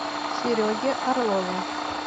сереге орлове